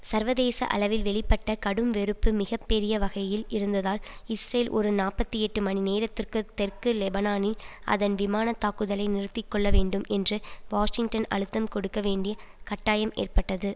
சர்வதேச அளவில் வெளிப்பட்ட கடும்வெறுப்பு மிக பெரிய வகையில் இருந்ததால் இஸ்ரேல் ஒரு நாப்பத்தி எட்டு மணி நேரத்திற்கு தெற்கு லெபனானில் அதன் விமான தாக்குதலை நிறுத்தி கொள்ள வேண்டும் என்று வாஷிங்டன் அழுத்தம் கொடுக்க வேண்டி கட்டாயம் ஏற்பட்டது